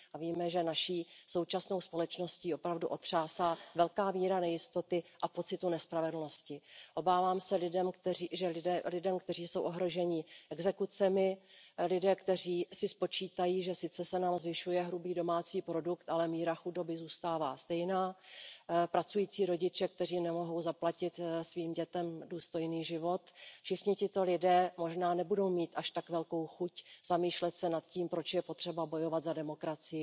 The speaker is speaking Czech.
Víme, že naší současnou společností opravdu otřásá velká míra nejistoty a pocitu nespravedlnosti. Obávám se, že lidé, kteří jsou ohroženi exekucemi, lidé, kteří si spočítají, že se nám sice zvyšuje hrubý domácí produkt, ale míra chudoby zůstává stejná, pracující rodiče, kteří nemohou zaplatit svým dětem důstojný život, všichni tito lidé možná nebudou mít až tak velkou chuť zamýšlet se nad tím, proč je potřeba bojovat za demokracii,